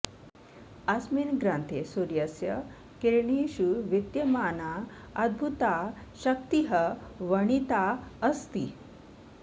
अस्मिन् ग्रन्थे सूर्यस्य किरणेषु विद्यमाना अद्भुता शक्तिः वर्णिता अस्ति